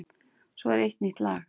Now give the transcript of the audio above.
Svo er eitt nýtt lag.